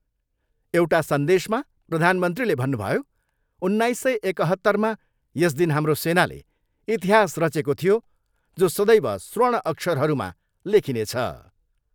एउटा सन्देशमा प्रधानमन्त्रीले भन्नुभयो, उन्नाइस सय एकहत्तरमा यस दिन हाम्रो सेनाले इतिहास रचेको थियो जो सदैव स्वर्ण अक्षरहरूमा लेखिनेछ।